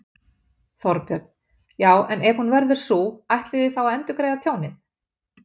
Þorbjörn: Já, en ef hún verður sú, ætlið þið þá að endurgreiða tjónið?